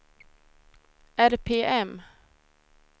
RPM